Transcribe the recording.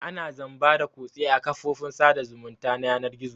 Ana zamba da kutse a kafofin sada zumunta na yanar gizo.